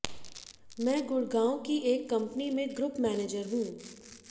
मैं गुडग़ांव की एक कंपनी में ग्रुप मैनेजर हूं